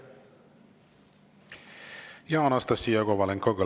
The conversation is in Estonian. Anastassia Kovalenko-Kõlvart, palun!